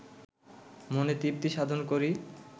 মনে তৃপ্তি সাধন করি